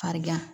Farigan